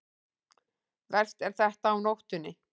Verst er þetta á nóttunni.